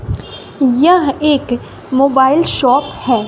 यह एक mobile shop है।